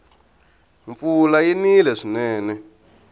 mpfula yi nile swinene